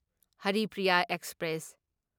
Haripriya express